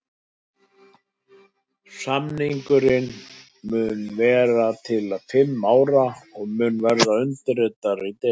Samningurinn mun vera til fimm ára og mun verða undirritaður í desember.